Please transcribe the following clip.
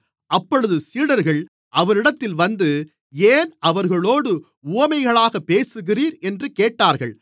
அப்பொழுது சீடர்கள் அவரிடத்தில் வந்து ஏன் அவர்களோடு உவமைகளாக பேசுகிறீர் என்று கேட்டார்கள்